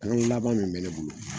laban min mɛ ne bolo